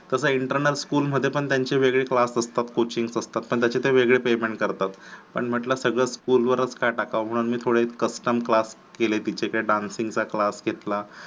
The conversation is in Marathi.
तस internal school मध्ये त्यांचे वेगळे class असतात. coaching असतात पण त्यांचे ते वेगळे payment करतात. पण म्हंटलं सगळं school वरच का टाकाव. उलट थोडा custom class तिचे dancing चा class घेतला.